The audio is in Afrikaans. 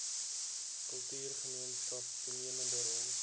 kultuurgemeenskap toenemende rol